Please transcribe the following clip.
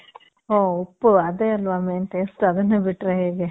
ಓ, ಉಪ್ಪು ಅದೇ ಅಲ್ವ main taste. ಅದುನ್ನೇ ಬಿಟ್ರೆ ಹೇಗೆ?